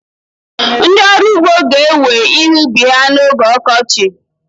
Ndị ọrụ ugbo ga-ewe ihe ubi ha n'oge ọkọchị.